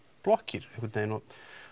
blokkir einhvern veginn og